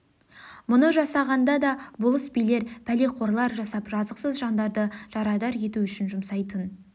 мұны жасағанда да болыс-билер пәлеқор-лар жасап жазықсыз жандарды жарадар ету үшін жұмсайтын